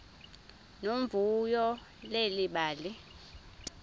nomvuyo leli bali